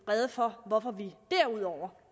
rede for hvorfor vi derudover